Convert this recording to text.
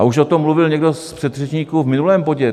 A už o tom mluvil někdo z předřečníků v minulém bodě.